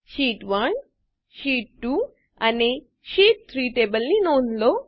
sheet 1 sheet two અને sheet three ટેબલોની નોંધ લો